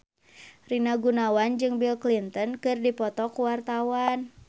Rina Gunawan jeung Bill Clinton keur dipoto ku wartawan